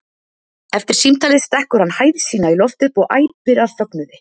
Eftir símtalið stekkur hann hæð sína í loft upp og æpir af fögnuði.